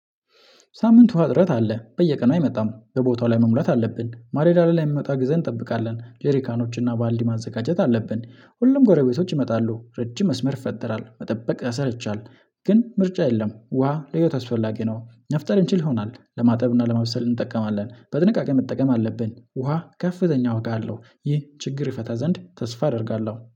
ሳምንት ውሃ አጥረት አለ። በየቀኑ አይመጣም። በቦታው ላይ መሙላት አለብን። ማለዳ ላይ የሚመጣ ጊዜ እንጠብቃለን። ጄሪካኖችና ባልዲ ማዘጋጀት አለብን። ሁሉም ጎረቤቶች ይመጣሉ። ረጅም መስመር ፈጠራል። መጠበቅ ያሰለቻል ግን ምርጫ የለም። ውሃ ለህይወት አስፈላጊ ነው። መፍጠር እንችል ይሆናል። ለማጠብ እና ለማብሰል እንጠቀማለን። በጥንቃቄ መጠቀም አለብን። ውሃ ከፍተኛ ዋጋ አለው። ይህ ችግር ይፈታ ዘንድ ተስፋ አደርጋለሁ።